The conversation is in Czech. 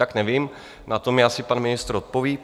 Tak nevím, na to mi asi pan ministr odpoví.